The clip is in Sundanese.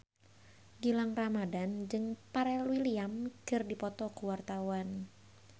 Gilang Ramadan jeung Pharrell Williams keur dipoto ku wartawan